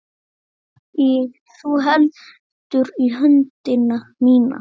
Þú heldur í höndina mína.